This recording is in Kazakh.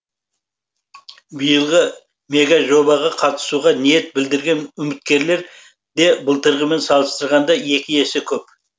биылғы мегажобаға қатысуға ниет білдірген үміткерлер де былтырғымен салыстырғанда екі есе көп